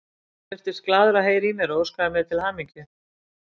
Hann virtist glaður að heyra í mér og óskaði mér til hamingju.